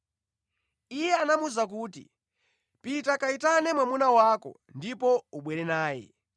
Iye anamuwuza kuti, “Pita kayitane mwamuna wako ndipo ubwere naye.”